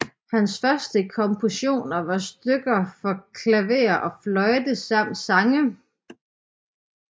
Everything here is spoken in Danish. Hans første kompositioner var stykker for klaver og fløjte samt sange